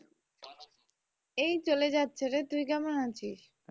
এই চলে যাচ্ছে রে তুই কেমন আছিস?